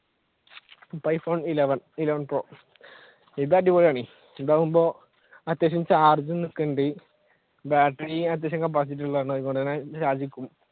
ഇപ്പൊ iphone eleven, eleven pro ഇത് അടിപൊളിയാണ് ഇതാകുമ്പോ അത്യാവശ്യം charge നിക്കുന്നുണ്ട് battery അത്യാവശ്യം capacity ഉള്ളതാണ് അതുപോലെതന്നെ